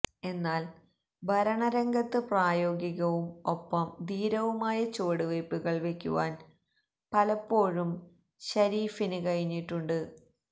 എന്നാൽ ഭരണരംഗത്ത് പ്രായോഗികവും ഒപ്പം ധീരവുമായ ചുവടുവെയ്പുകൾ വെയ്ക്കുവാൻ പലപ്പോഴും ശരീഫിന് കഴിഞ്ഞിട്ടുണ്ട്